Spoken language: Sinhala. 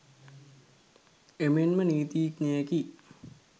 එමෙන්ම නීතිඥයෙකි